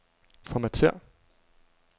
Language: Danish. Formatér.